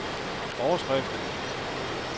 overskrift